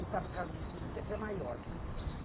E sabe, casa de esquina sempre é maior, né?